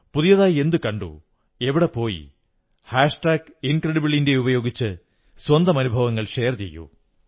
പുതിയതായി എന്തു കണ്ടു എവിടെ പോയി ഹാഷ് ടാഗ് ഇൻക്രെഡിബിൾ ഇന്ത്യ ഉപയോഗിച്ച് സ്വന്തം അനുഭവങ്ങൾ ഷെയർ ചെയ്യൂ